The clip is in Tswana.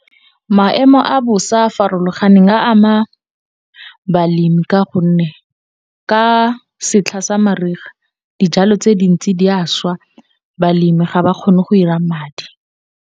Maemo a bosa a a farologaneng a ama balemi ka gonne, ka setlha sa mariga dijalo tse dintsi di a šwa balemi ga ba kgone go ira madi.